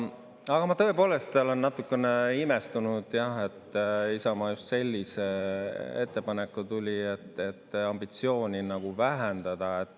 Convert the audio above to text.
Aga ma tõepoolest olen natukene imestunud, jah, et Isamaa just sellise ettepanekuga tuli, et ambitsiooni vähendada.